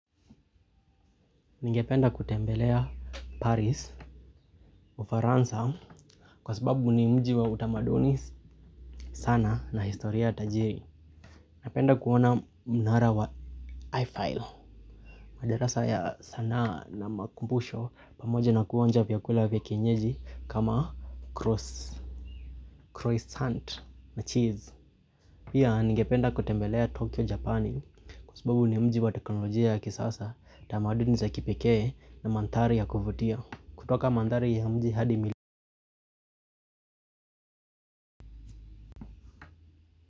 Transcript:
Ningependa kutembelea Paris Ufaransa kwa sababu ni mji wa utamaduni sana na historia tajiri. Napenda kuona mnara wa i-file. Madarasa ya sanaa na makumbusho pamoja na kuonja vyakula vya kienjeji kama croissant na cheese. Pia ningependa kutembelea Tokyo Japan kwa sababu ni mji wa teknolojia ya kisasa tamaduni za kipekee na manthari ya kuvutia. Kutoka manthari ya mji hadi mili.